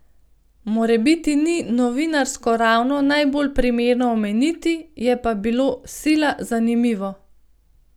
Morebiti ni novinarsko ravno najbolj primerno omeniti, je pa bilo sila zanimivo.